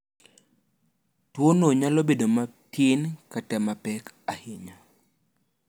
Tuwono nyalo bedo matin kata mapek ahinya.